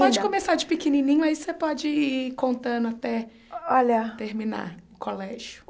Pode começar de pequenininho, aí você pode ir contando até olha terminar o colégio.